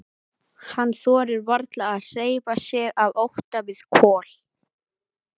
Hann þorir varla að hreyfa sig af ótta við Kol.